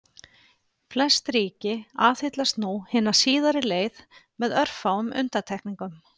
Flest ríki aðhyllast nú hina síðari leið með örfáum undantekningum.